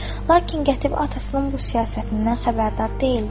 Lakin Qətibə atasının bu siyasətindən xəbərdar deyildi.